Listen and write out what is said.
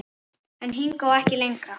En hingað og ekki lengra.